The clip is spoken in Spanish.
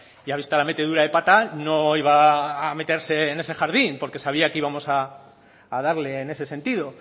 y ha visto la metedura de pata no iba a meterse en ese jardín porque sabía que íbamos a darle en ese sentido